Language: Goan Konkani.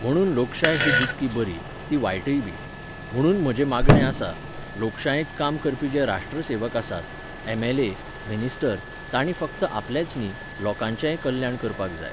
म्हणून लोकशाय ही जितकी बरी, ती वायटयबी. म्हुणून म्हजें मागणें आसा, लोकशायेंत काम करपी जे राष्ट्रसेवक आसात, एम.एल.ए., मिनिस्टर, तांणी फक्त आपलेंच न्ही, लोकांचेंय कल्याण करपाक जाय.